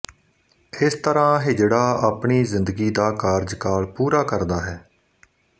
ਇਸ ਤਰ੍ਹਾਂ ਹਿਜੜਾ ਆਪਣੀ ਜ਼ਿੰਦਗੀ ਦਾ ਕਾਰਜਕਾਲ ਪੂਰਾ ਕਰਦਾ ਹੈ